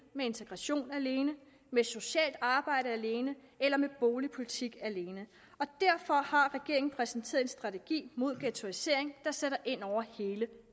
med integration alene med socialt arbejde alene eller med boligpolitik alene og derfor har regeringen præsenteret en strategi mod ghettoisering der sætter ind over hele